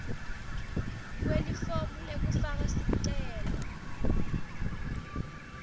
kwelifomu lekufaka sicelo